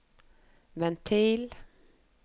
ventil